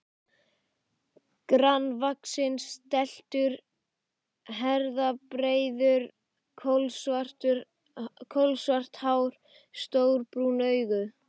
Grannvaxinn, stæltur, herðabreiður, kolsvart hár, stór brún augu.